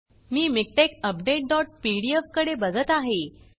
मी MiKTeX update dot PDF कडे बघत आहे